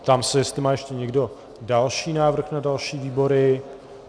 Ptám se, jestli má ještě někdo další návrh na další výbory.